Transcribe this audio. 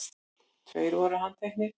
Tveir voru handtekni